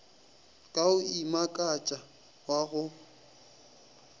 ka go imakatša wa go